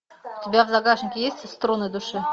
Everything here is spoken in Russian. у тебя в загашнике есть струны души